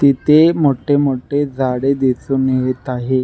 ति तिथे मोटे मोठे झाडे दिसुन येत आहे.